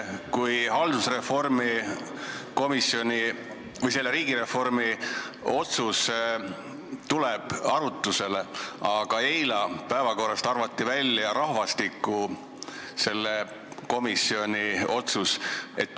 Riigireformi komisjoni otsus tuleb arutlusele, aga eile arvati päevakorrast välja rahvastikukomisjoni otsus.